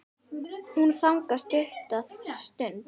Hún þagnar stutta stund.